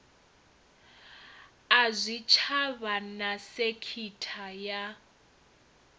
a zwitshavha na sekitha ya